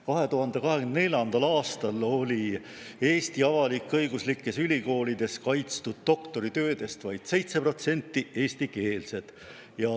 2024. aastal oli Eesti avalik-õiguslikes ülikoolides kaitstud doktoritöödest vaid 7% eestikeelsed.